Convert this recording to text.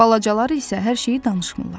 Balacalar isə hər şeyi danışmırlar.